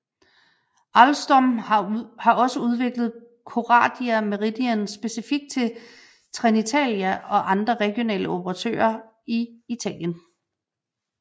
Alstom har også udviklet Coradia Meridian specifikt til Trenitalia og andre regionale operatører i Italien